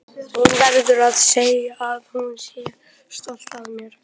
Hún verði að segja að hún sé stolt af mér.